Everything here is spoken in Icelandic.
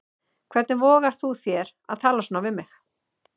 Hvernig vogar þú þér að tala svona við mig.